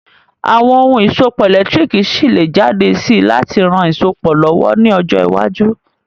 Àwon oun ìsopọ̀ ẹ̀lẹ́ntírikì ṣi lé jáde si láti ran isopọ̀ lọ̀wọ̀ ni ojọ́ iwájú